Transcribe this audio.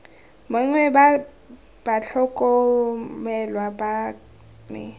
mongwe wa batlhokomelwa ba me